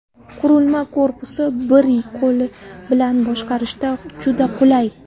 Qurilma korpusi bir qo‘l bilan boshqarishda juda qulay.